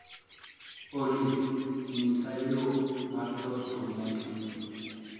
olly nyisa yo mar loso mokimo